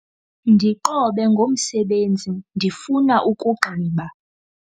Ndiqobe ngomsebenzi ndifuna ukugqiba.